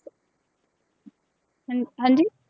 ਹਾਂਜੀ